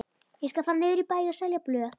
Ég skal fara niður í bæ og selja blöð.